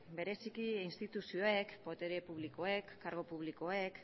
bereziki instituzioek botere publikoek kargu publikoek